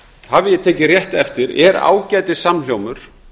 hafi ég tekið rétt eftir er ágætissamhljómur